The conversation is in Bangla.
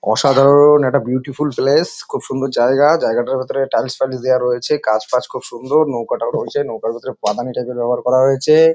অসাধারন-অ একটা বিউটিফুল প্লেস খুব সুন্দর জায়গা । জায়গাটার ভেতরে টাইলস ফাইলস দেওয়া রয়েছে কাজ বাজ খুব সুন্দর নৌকাটা রয়েছে নৌকার ভেতর পাদানি টাইপ ব্যবহার করা হয়েছে-এ ।